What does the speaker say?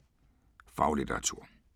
Faglitteratur